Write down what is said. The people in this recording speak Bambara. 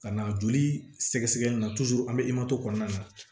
Ka na joli sɛgɛsɛgɛ min na an bɛ kɔnɔna na